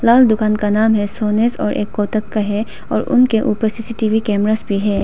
लाल दुकान का नाम है सोनेस और एक कोटक का है और उनके ऊपर सी_सी_टी_वी कैमरास भी है।